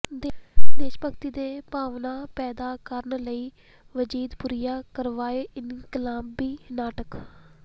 ਦੇਸ਼ ਭਗਤੀ ਦੀ ਭਾਵਨਾ ਪੈਦਾ ਕਰਨ ਲਈ ਵਜੀਦਪੁਰੀਆਂ ਕਰਵਾਏ ਇਨਕਲਾਬੀ ਨਾਟਕ